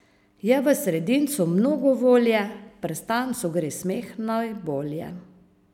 Je v sredincu mnogo volje, prstancu gre smeh najbolje.